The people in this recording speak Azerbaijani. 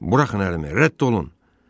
Buraxın əlimi, rədd olun.